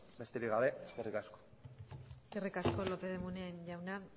besterik gabe eskerrik asko eskerrik asko lópez de munain jauna